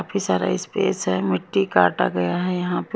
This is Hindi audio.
काफी सारा स्पेस है मिट्टी काटा गया है यहां पे--